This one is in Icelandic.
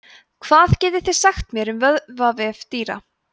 hvað getið þið sagt mér um vöðvavefi dýra